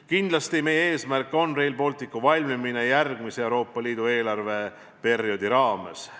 Kindlasti on meie eesmärk, et Rail Baltic valmiks järgmise Euroopa Liidu eelarveperioodi raames.